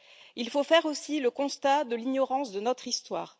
Il faut faire aussi le constat de l'ignorance de notre histoire.